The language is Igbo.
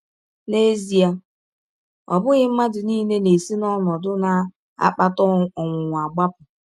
N’ezie, ọ bụghị mmadụ nile na - esi n’ọnọdụ na - akpata ọnwụnwa agbapụ.